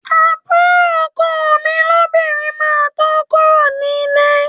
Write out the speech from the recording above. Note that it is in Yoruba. Àbúrò ọkọ mi lóbìnrin máa tó kúrò ní líle